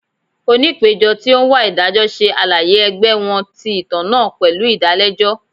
Onipejọ ti o n wa idajọ ṣe alaye ẹgbẹ wọn ti itan naa pẹlu idalẹjọ.